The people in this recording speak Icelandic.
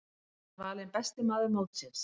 Hann var valinn besti maður mótsins.